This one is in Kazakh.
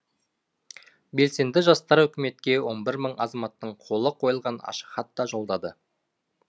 белсенді жастар үкіметке он бір мың азаматтың қолы қойылған ашық хат та жолдады